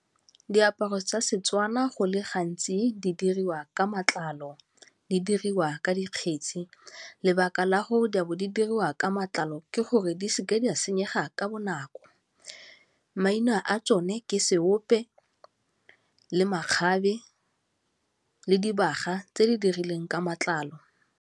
Diaparo tsa Setswana go le gantsi di diriwa ka matlalo, di diriwa ka dikgetsi. Lebaka la gore di a bo di diriwa ka matlalo ke gore di seke tsa senyega ka bonako. Maina a tsone ke seope le makgabe le dibaga tse di dirilweng ka matlalo.